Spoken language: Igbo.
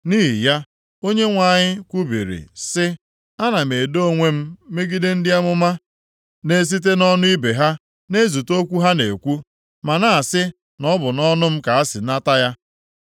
Nʼihi ya, Onyenwe anyị kwubiri sị, “Ana m edo onwe m megide ndị amụma na-esite nʼọnụ ibe ha na-ezute okwu ha na-ekwu, ma na-asị na ọ bụ nʼọnụ m ka ha si nata ya.